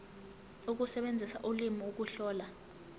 ukusebenzisa ulimi ukuhlola